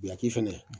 Biyaki fɛnɛ